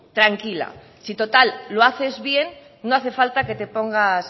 tranquila si total lo haces bien no hace falta que te pongas